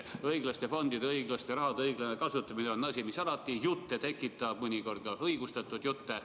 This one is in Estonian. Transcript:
Õiglaste fondide õiglaste rahade õiglane kasutamine on asi, mis alati jutte tekitab – mõnikord ka õigustatud jutte.